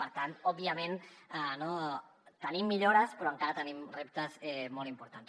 per tant òbviament tenim millores però encara tenim reptes molt importants